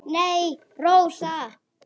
Nei, Rósa.